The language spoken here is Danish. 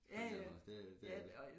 På en eller anden måde det det er det